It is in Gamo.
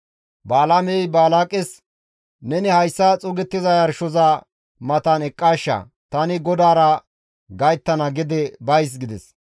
Balaamey Balaaqes, «Neni hayssa xuugettiza yarshoza matan eqqaashsha; tani GODAARA gayttana gede bays» gides.